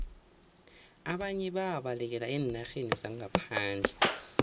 ababnye abantu babalekela eenarheni zangaphandle